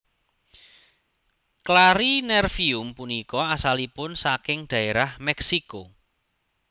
Clarinervium punika asalipun saking dhaérah Meksiko